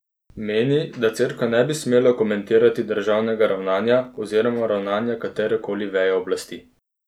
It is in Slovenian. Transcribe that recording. Meni, da Cerkev ne bi smela komentirati državnega ravnanja oziroma ravnanja katere koli veje oblasti.